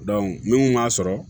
n'u kun m'a sɔrɔ